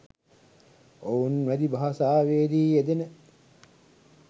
ඔවුන් වැදි භාෂාවේ දී යෙදෙන